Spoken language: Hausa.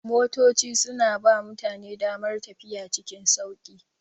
Motoci suna ba mutane damar tafiya cikin sauƙi.